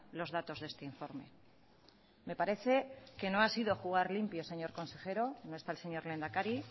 los datos de este informe me parece que no ha sido jugar limpio señor consejero no está el señor lehendakari